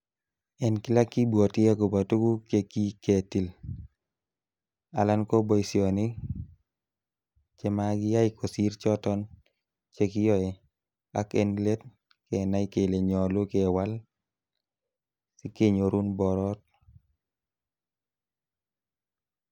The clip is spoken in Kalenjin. En kila kibwoti agobo tuguk che kiketil, alan ko boisionik chemakiyai kosir choton chekiyoe ak en let kenai kele nyolu kewal si kenyorun borot.